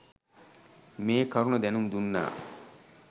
මේ කරුණ දැනුම්දුන්නා.